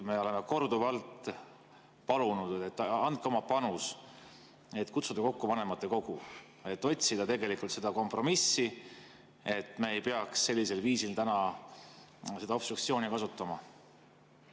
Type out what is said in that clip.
Me oleme korduvalt palunud: andke oma panus, et kutsuda kokku vanematekogu, otsida kompromissi, et me ei peaks sellisel viisil täna obstruktsiooni kasutama.